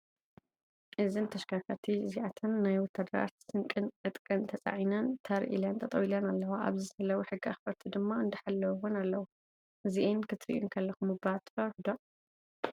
እዚን ተሽከርከርቲ እንዚኣን ናይ ወታድራት ስንቅን ዕጥቅን ተፃሒነን ተር ኢለን ጠጠው ኢለን ኣለዋ። ኣብዚ ዘለው ሕጊ ኣክበርቲ ድማ እንዳሐለውዎን ኣለው። እዚኣን ክትሪኡ እንከለኩም እባ ትፈርሑ ዶ ?